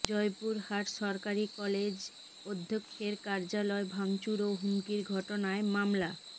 জয়পুরহাট সরকারি কলেজ অধ্যক্ষের কার্যালয় ভাঙচুর ও হুমকির ঘটনায় মামলা